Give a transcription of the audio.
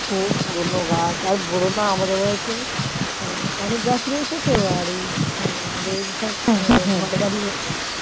কত পুরোনো গাছ বোলো না আমাদের বাড়িতে অনেক গাছই রয়েছে তো আমাদের বাড়ি